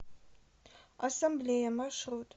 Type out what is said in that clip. ассамблея маршрут